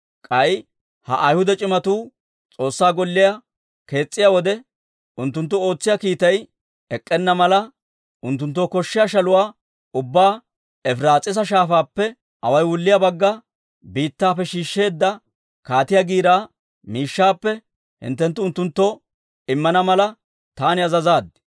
«K'ay ha Ayhuda c'imatuu S'oossaa Golliyaa kees's'iyaa wode, unttunttu ootsiyaa kiitay ek'k'enna mala, unttunttoo koshshiyaa shaluwaa ubbaa Efiraas'iisa Shaafaappe awaay wulliyaa Bagga Biittaappe shiishsheedda kaatiyaa giiraa miishshaappe hinttenttu unttunttoo immana mala, taani azazaad.